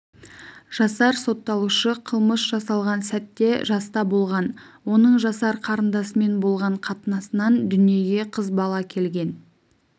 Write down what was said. жасар сотталушы қылмыс жасалған сәтте жаста болған оның жасар қарындасымен болған қатынасынан дүниеге қыз бала келген